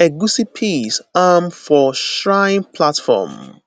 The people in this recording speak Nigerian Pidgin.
egusi piece um for shrine platform